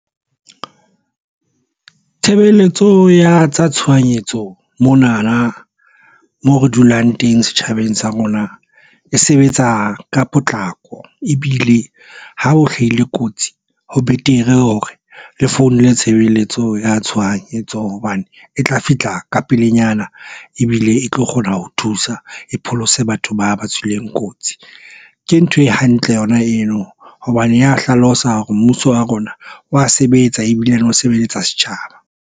Tshebeletso ya tshohanyetso mona na mo re dulang teng setjhabeng sa rona e sebetsa ka potlako ebile ha o hlahile kotsi ho betere hore le founile tshebeletso ya tshohanyetso hobane e tla fihla ka pelenyana ebile e tlo kgona ho thusa. E pholose batho ba ba tswileng kotsi. Ke ntho e hantle yona eno hobane ya hlalosa hore mmuso wa rona wa sebetsa ebile le o sebelletsa setjhaba.